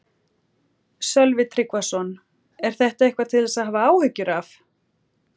Sölvi Tryggvason: Er þetta eitthvað til þess að hafa áhyggjur af?